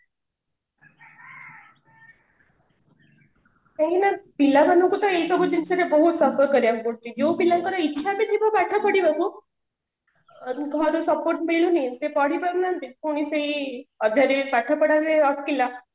କାହିଁକି ନା ପିଲାମାନଙ୍କୁ ତ ଏଇସବୁ ଜିନିଷରେ ବହୁତ suffer କରିବା କୁ ପଡୁଛି ଯୋଉ ପିଲାଙ୍କର ଇଚ୍ଛା ବି ଥିବ ପାଠ ପଢିବା କୁ ଘରୁ support ମିଲୁନି ସେ ପଢି ପାରୁନାହାନ୍ତି ପୁଣି ସେଇ ପାଠପଢାରେ ଅଟକିଲା